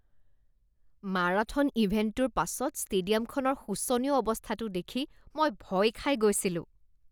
marathon ইভেণ্টটোৰ পাছত ষ্টেডিয়ামখনৰ শোচনীয় অৱস্থাটো দেখি মই ভয় খাই গৈছিলোঁ